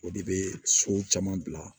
O de bɛ so caman bila